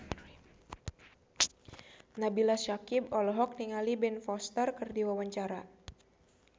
Nabila Syakieb olohok ningali Ben Foster keur diwawancara